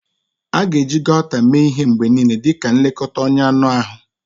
A ga-eji Gauta mee ihe mgbe niile dị ka nlekọta ọnya anụ ahụ.